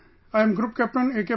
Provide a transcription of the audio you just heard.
Sir I am Group Captain A